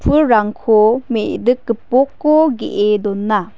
pulrangko me·dik gipok ge·e dona.